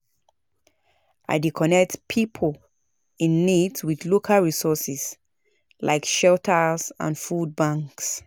I dey connect pipo in need with local resources like shelters and food banks.